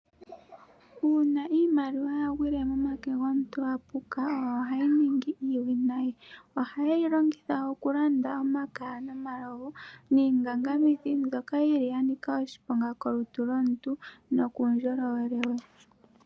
Uuna iimaliwa ya gwile momake gomuntu apuka ohayi ningi iiwinayi. Oha yeyi longitha okulanda omakaya ,omalovu nosho woo iingangamithi ndjoka yi li ya nika oshiponga kolutu lwomuntu nokuundjolowele we.